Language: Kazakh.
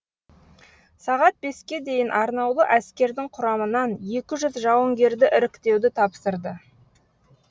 сағат беске дейін арнаулы әскердің құрамынан екі жүз жауынгерді іріктеуді тапсырды